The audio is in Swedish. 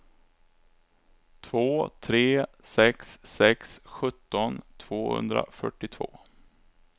två tre sex sex sjutton tvåhundrafyrtiotvå